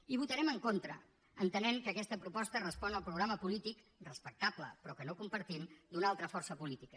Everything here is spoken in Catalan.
hi votarem en contra entenent que aquesta proposta respon al programa polític respectable però que no compartim d’una altra força política